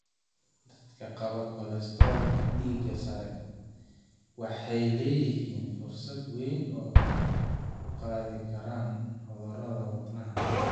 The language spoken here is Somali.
Dadka qaba kolestaroolka dhiigga sare waxay leeyihiin fursad weyn oo ay ku qaadi karaan cudurrada wadnaha.